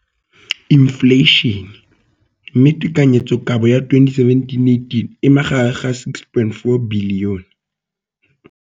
Infleišene, mme tekanyetsokabo ya 2017-18 e magareng ga R6.4 bilione.